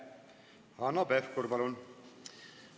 Hanno Pevkur, palun!